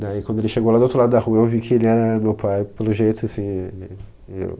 Daí, quando ele chegou lá do outro lado da rua, eu vi que ele era meu pai, pelo jeito assim é, meio